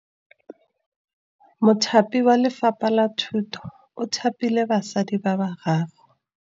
Mothapi wa Lefapha la Thutô o thapile basadi ba ba raro.